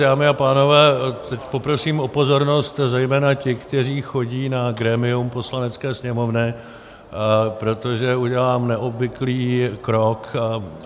Dámy a pánové, teď poprosím o pozornost zejména těch, kteří chodí na grémium Poslanecké sněmovny, protože udělám neobvyklý krok.